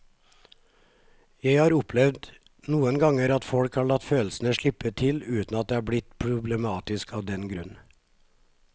Jeg har opplevd noen ganger at folk har latt følelsene slippe til uten at det er blitt problematisk av den grunn.